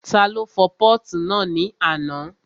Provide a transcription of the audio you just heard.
Ta ló fọ pọ́ọ̀tù náà ní àná?